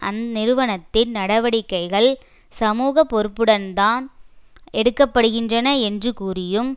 அந்நிறுவனத்தின் நடவடிக்கைகள் சமூக பொறுப்புடன் தான் எடுக்க படுகின்றன என்று கூறியும்